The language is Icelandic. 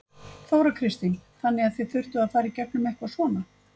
Þóra Kristín: Þannig að þið þurftuð að fara í gegnum eitthvað svona?